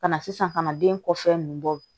Ka na sisan ka na den kɔfɛn nunnu bɔ